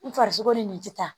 N farisogo ni nin tɛ ta